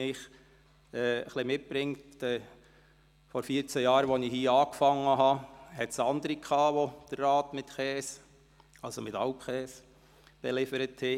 Vor vierzehn Jahren, als ich damit begann, gab es andere, die den Rat mit Käse, das heisst mit Alpkäse, belieferten.